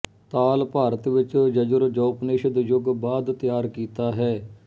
ਤਾਲ ਭਾਰਤ ਵਿੱਚ ਯਜੁਰ ਜਉਪਨਿਸ਼ਦ ਯੁੱਗ ਬਾਅਦ ਤਿਆਰ ਕੀਤਾ ਹੈ